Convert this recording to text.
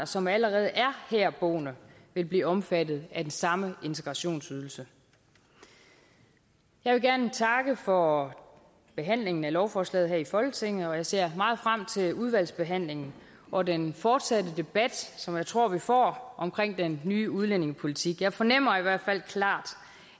som allerede er herboende vil blive omfattet af den samme integrationsydelse jeg vil gerne takke for behandlingen af lovforslaget her i folketinget og jeg ser meget frem til udvalgsbehandlingen og den fortsatte debat som jeg tror vi får om den nye udlændingepolitik jeg fornemmer i hvert fald klart